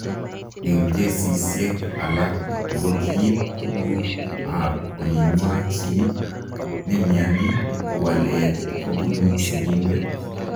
Eng kesisiek alaak, ngokiib tuguk ap olinywa chii nemianii kowaleet kobunuu sigindet.